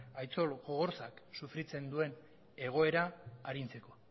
aitzol gogorzak sufritzen duen egoera arintzeko